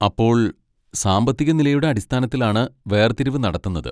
അപ്പോൾ, സാമ്പത്തികനിലയുടെ അടിസ്ഥാനത്തിലാണ് വേർതിരിവ് നടത്തുന്നത്?